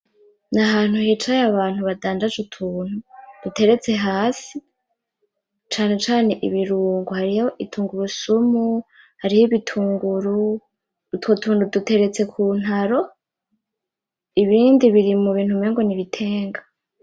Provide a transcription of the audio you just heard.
Ni ahantu hicaye abantu badandaza utuntu duteretse hasi cane cane ibirungo, hariyo ibitungurusumu hariyo ibitunguru , utwo tuntu duteretse kuntaro , ibindi biri mubintu umengo n'ibitenga.